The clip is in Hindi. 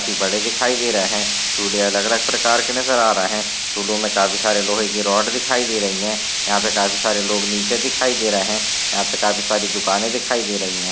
काफी बड़े दिखाई दे रहे हैं झूले अलग अलग प्रकार के नजर आ रहे हैं झूलो में काफी सारी लोहे की रोड दिखाई दे रहीं हैं यहां पर काफी सारे लोग नीचे दिखाई दे रहे हैं यहां पे काफी सारी दुकानों दिखाई दे रही हैं।